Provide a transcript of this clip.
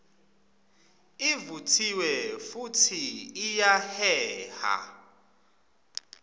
ivutsiwe futsi iyaheha